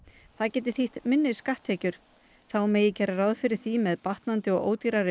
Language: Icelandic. það geti þýtt minni skatttekjur þá megi gera ráð fyrir því að með batnandi og ódýrari